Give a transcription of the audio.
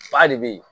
Ba de be yen